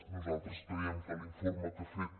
nosaltres creiem que l’informe que ha fet